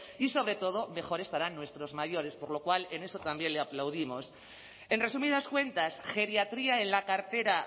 y sobre todo mejor estarán nuestros mayores por lo cual en eso también le aplaudimos en resumidas cuentas geriatría en la cartera